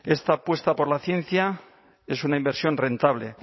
esta apuesta por la ciencia es una inversión rentable